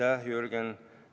Aitäh, Jürgen!